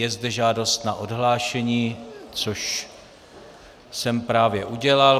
Je zde žádost na odhlášení, což jsem právě udělal.